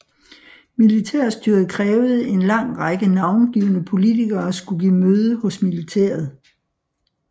Militærstyret krævede en lang række navngivne politikere skulle give møde hos militæret